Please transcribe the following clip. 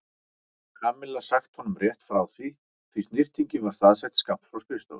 Kamilla sagt honum rétt frá því snyrtingin var staðsett skammt frá skrifstofunni.